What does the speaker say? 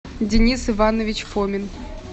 денис иванович фомин